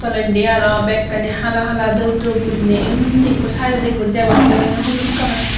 tolendi aro bhekkani hala hala dhup dhup guriney undi ekko side odi ekko jabot boreyne holut colour.